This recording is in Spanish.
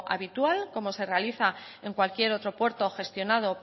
habitual como se realiza en cualquier otro puerto gestionado